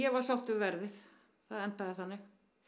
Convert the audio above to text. var sátt við verðið það endaði þannig